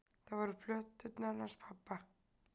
Það voru plöturnar hans pabba.